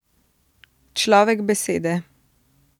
Človek besede.